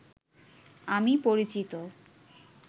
আমি পরিচিত